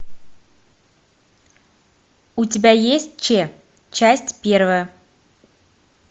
у тебя есть че часть первая